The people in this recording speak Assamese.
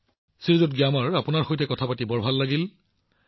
প্ৰধানমন্ত্ৰীঃ গ্যামাৰ জী আপোনাৰ সৈতে কথা পাতি যথেষ্ট আনন্দিত হৈছো